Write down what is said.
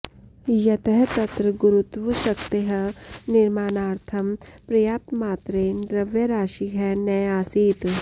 यतः तत्र गुरुत्वशक्तेः निर्माणार्थं पर्याप्तमात्रेण द्रव्यराशिः न आसीत्